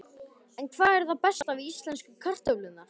En hvað er það besta við íslensku kartöflurnar?